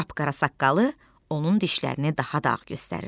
Qapqara saqqalı onun dişlərini daha da ağ göstərirdi.